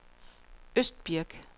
Østbirk